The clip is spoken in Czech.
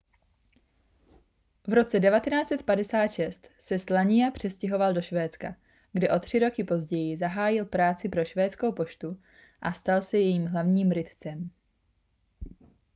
v roce 1956 se słania přestěhoval do švédska kde o tři roky později zahájil práci pro švédskou poštu a stal se jejím hlavním rytcem